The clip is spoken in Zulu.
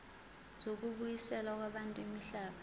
zokubuyiselwa kwabantu imihlaba